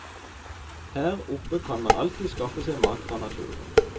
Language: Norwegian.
Her oppe kan man alltid skaffe seg mat fra naturen.